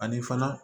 Ani fana